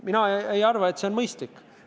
Mina ei arva, et see on mõistlik.